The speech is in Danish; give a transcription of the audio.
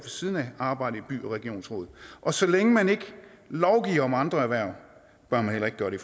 siden af arbejdet i by og regionsrådet og så længe man ikke lovgiver om andre erhverv bør man heller ikke gøre det